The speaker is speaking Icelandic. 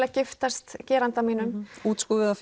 að giftast geranda mínum útskúfuð af